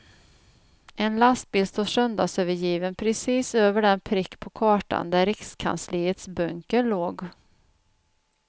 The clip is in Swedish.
En lastbil står söndagsövergiven precis över den prick på kartan där rikskansliets bunker låg.